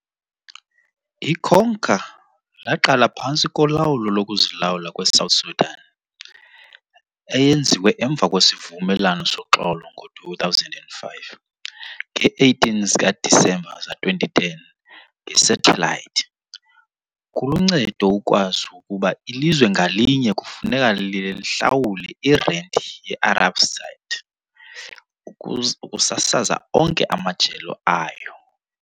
Ikhonka laqala phantsi kolawulo lokuzilawula kweSouth Sudan, eyenziwe emva kwesivumelano soxolo ngo-2005, ngee-18 zikaDisemba zika-2010 ngesathelayithi. Kuluncedo ukwazi ukuba ilizwe ngalinye kufuneka lihlawule irenti ye-Arabsat ukusasaza onke amajelo ayo.